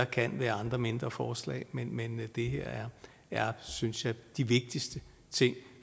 kan være andre mindre forslag men det her er synes jeg de vigtigste ting